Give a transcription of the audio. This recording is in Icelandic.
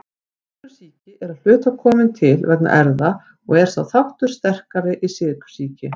Sykursýki er að hluta komin til vegna erfða og er sá þáttur sterkari í sykursýki.